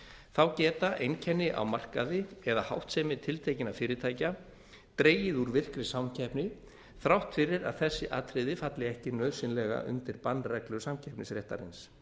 þá geta einkenni á markaði eða háttsemi tiltekinna fyrirtækja dregið úr virkri samkeppni þrátt fyrir að þessi atriði falli ekki nauðsynlega undir bannreglur samkeppnisréttarins